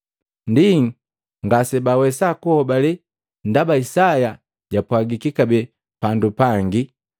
Ndi, ngasebawesa kuhobale, ndaba Isaya jwapwagiki kabee pandu pangi.